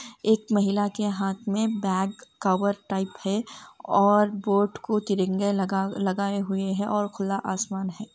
एक महिला के हाथ में बाग कवर टाइप है और बोट को तिरंगे लगाए हुए है और खुला आसमान है।